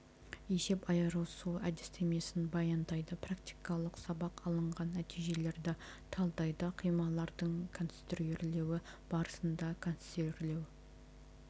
есеп айырысу әдістемесін баяндайды практикалық сабақ алынған нәтижелерді талдайды қималардың конструирлеуі барысында конструирлеу